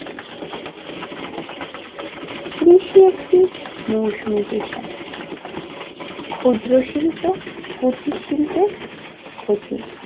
কৃষি একটি মৌসুমী পেশা ক্ষুদ্র শিল্প কুটির শিল্পের ক্ষতি